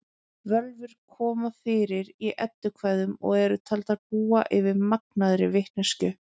Völvur koma fyrir í eddukvæðum og eru taldar búa yfir magnaðri vitneskju.